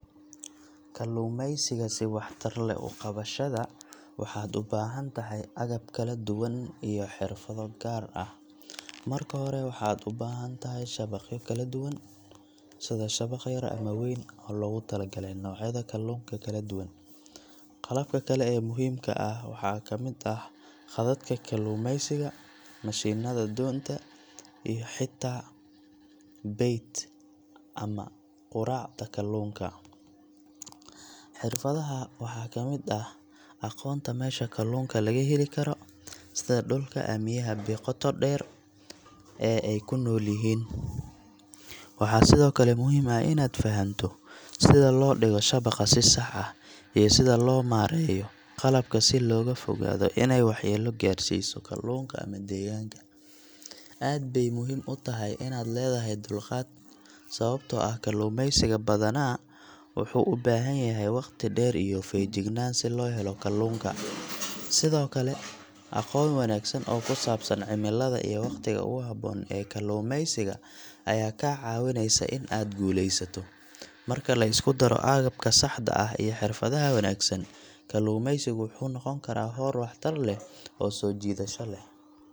Xirfadaha waxaa ka mid ah aqoonta meesha kalluunka laga heli karo, sida dhulka ama biyaha qoto dheer ee ay ku nool yihiin. Waxaa sidoo kale muhiim ah inaad fahamto sida loo dhigo shabaqa si sax ah, iyo sida loo maareeyo qalabka si looga fogaado inay waxyeello gaarsiiso kalluunka ama deegaanka. Aad bay muhiim u tahay inaad leedahay dulqaad, sababtoo ah kalluumaysiga badanaa wuxuu u baahan yahay waqti dheer iyo feejignaan si loo helo kalluunka. Sidoo kale, aqoon wanaagsan oo ku saabsan cimilada iyo waqtiga ugu habboon ee kalluumaysiga ayaa kaa caawinaysa in aad guulaysato. Marka la isku daro agabka saxda ah iyo xirfadaha wanaagsan, kalluumaysigu wuxuu noqon karaa hawl waxtar leh oo soo jiidasho leh.